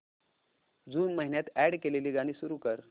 जून महिन्यात अॅड केलेली गाणी सुरू कर